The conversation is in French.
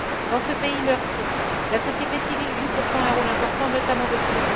Dans ce pays meurtri, la société civile joue pourtant un rôle important, notamment depuis